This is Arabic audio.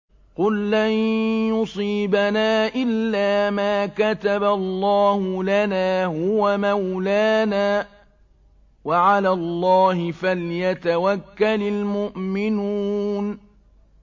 قُل لَّن يُصِيبَنَا إِلَّا مَا كَتَبَ اللَّهُ لَنَا هُوَ مَوْلَانَا ۚ وَعَلَى اللَّهِ فَلْيَتَوَكَّلِ الْمُؤْمِنُونَ